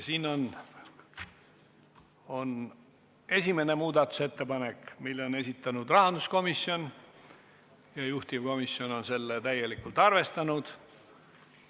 Siin on esimene muudatusettepanek, selle on esitanud rahanduskomisjon ja juhtivkomisjon on seda täielikult arvestanud.